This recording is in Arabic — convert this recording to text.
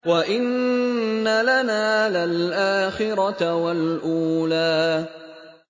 وَإِنَّ لَنَا لَلْآخِرَةَ وَالْأُولَىٰ